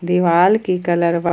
दीवाल की कलर वा--